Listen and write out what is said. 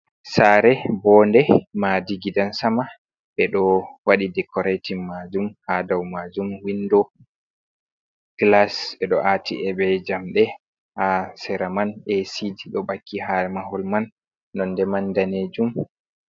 Saare woonde. Maadi gidan sama. Ɓe ɗo waɗi dekoreetin maajum. Haa dow maajum windo glas, ɓe ɗo ati be jamɗe, ha sera man esiiji ɗo ɓakki ha mahol mai daneejum